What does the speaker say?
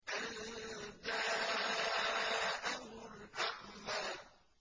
أَن جَاءَهُ الْأَعْمَىٰ